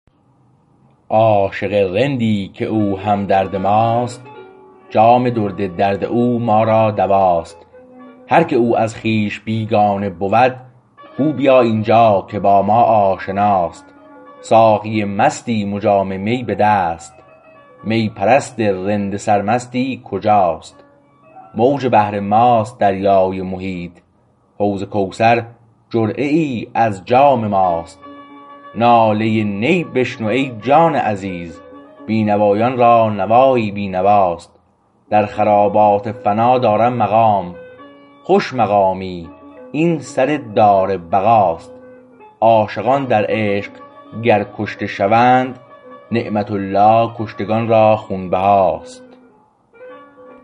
عاشق رندی که او همدرد ماست جام درد درد او ما را دواست هر که او از خویش بیگانه بود گو بیا اینجا که با ما آشناست ساقی مستیم و جام می به دست می پرست رند سرمستی کجاست موج بحر ماست دریای محیط حوض کوثر جرعه ای از جام ماست ناله نی بشنو ای جان عزیز بینوایان را نوایی بی نواست در خرابات فنا دارم مقام خوش مقامی این سر دار بقاست عاشقان در عشق گر کشته شوند نعمت الله کشتگان را خونبهاست